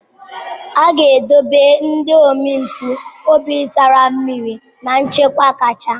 A na-edobe ndị omempụ obi tara mmiri na nchekwa kacha.